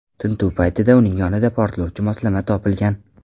Tintuv paytida uning yonidan portlovchi moslama topilgan.